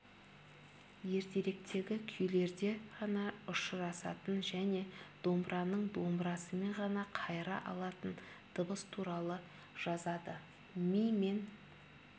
ертеректегі күйлерде ғана ұшырасатын және домбыраның домбырасымен ғана қайыра алатын дыбыс туралы жазады ми мен